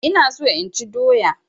Ina so inchi doya